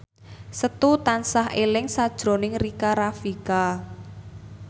Setu tansah eling sakjroning Rika Rafika